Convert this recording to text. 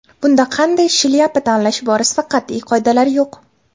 Bunda qanday shlyapa tanlash borasida qat’iy qoidalar yo‘q.